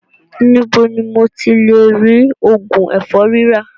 Níbo ni mo ti lè rí òògùn ẹ̀fọ́rí rà?